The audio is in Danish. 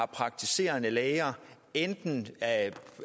praktiserende læger enten